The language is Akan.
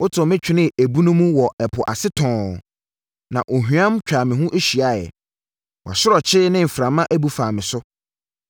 Wotoo me twenee ebunu mu wɔ ɛpo ase tɔnn, na ɔhweam twaa me ho hyiaeɛ; wʼasorɔkye ne mframa bu faa me so.